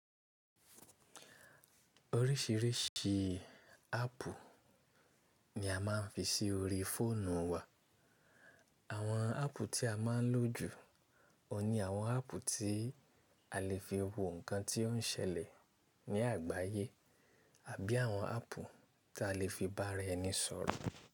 Oríṣìíríṣìí áàpù ni a máa ń fi sí orí fóònù wa. Àwọn áàpù tí a máa ń lò jù ọun ni àwọn áàpù tí a lè fi wo nǹkan tí ó ń ṣẹlẹ̀ ní àgbáyé àbí àwọn áàpù tí a lè fi bá ara ẹni sọ̀rọ̀.